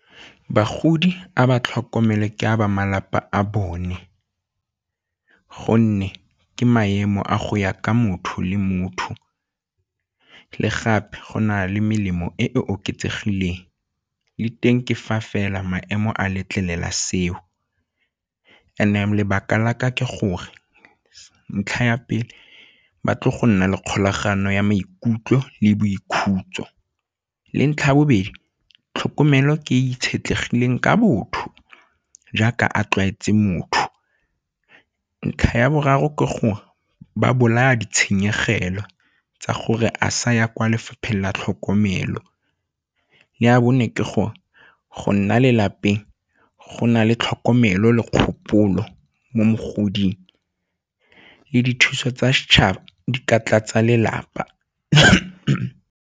Bagodi a ba tlhokomele ke a ba malapa a bone gonne ke maemo a go ya ka motho le motho le gape go na le melemo e e oketsegileng le teng ke fa fela maemo a letlelela seo. And-e lebaka la ka ke gore ntlha ya pele ba tle go nna le kgolagano ya maikutlo le boikhutso le ntlha bobedi, tlhokomelo ke itshetlegileng ka botho jaaka a tlwaetse motho. Ntlha ya boraro ke gore ba bolaya ditshenyegelo tsa gore a sa ya kwa lefapheng la tlhokomelo, ya bone ke gore go nna lelapeng go na le tlhokomelo le kgopolo mo mogoding le dithuso tsa setšhaba ka tlatsa lelapa.